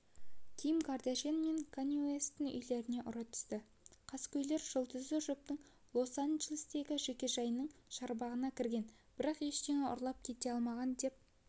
ким кардашьян мен канье уэсттің үйлеріне ұры түсті қаскөйлер жұлдызды жұптың лос-анджелестегі жекежайының шарбағына кірген бірақ ештеңе ұрлап кете алмаған деп